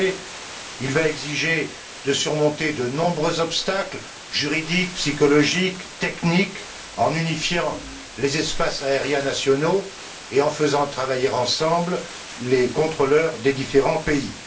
En effet, il va exiger de surmonter de nombreux obstacles juridiques, psychologiques, techniques en unifiant les espaces aériens nationaux et en faisant travailler ensemble les contrôleurs des différents pays.